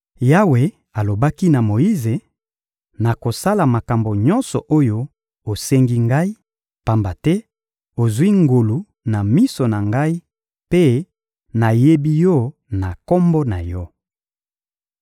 Yawe alobaki na Moyize: — Nakosala makambo nyonso oyo osengi Ngai, pamba te ozwi ngolu na miso na Ngai mpe nayebi yo na kombo na yo.